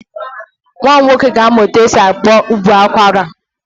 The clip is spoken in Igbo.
Nwa m nwoke ga-amụ etu esi akpọ ụbọ akwara.